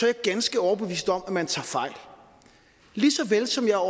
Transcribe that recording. jeg ganske overbevist om at man tager fejl lige såvel som jeg er